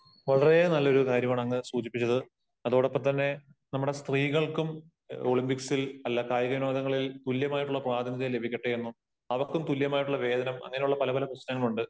വളരെ നല്ല ഒരു കാര്യമാണ് അങ്ങ് സൂചിപ്പിച്ചത്. അതോടൊപ്പം തന്നെ നമ്മുടെ സ്ത്രീകൾക്കും ഒളിമ്പിക്സിൽ, അല്ല കായിക വിനോദങ്ങളിൽ തുല്യമായിട്ടുള്ള പ്രാതിനിധ്യം ലഭിക്കട്ടെ എന്നും അവർക്കും തുല്യമായിട്ടുള്ള വേതനം, അങ്ങനെ ഉള്ള പല പല പ്രശ്നങ്ങൾ ഉണ്ട്.